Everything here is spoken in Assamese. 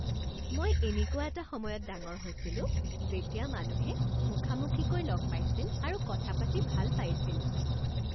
মই এনেকুৱা এটা সময়ত ডাঙৰ হৈছিলোঁ যেতিয়া মানুহে মুখামুখিকৈ লগ পাইছিল আৰু কথা পাতি ভাল পাইছিল